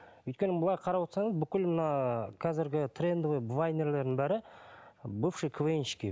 өйткені былай қарап отырсаңыз бүкіл мына қазіргі трендовый вайнерлердің бәрі бывший квн щики